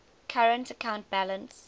current account balance